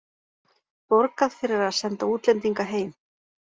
Borgað fyrir að senda útlendinga heim